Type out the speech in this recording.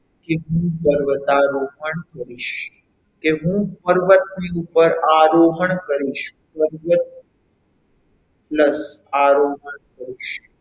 કે હું પર્વતારોહણ કરીશ કે હું પર્વતની ઉપર આરોહણ કરીશ પર્વત plus આરોહણ કરીશ.